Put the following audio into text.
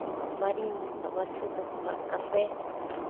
Comprava farinha, comprava açúcar, comprava café.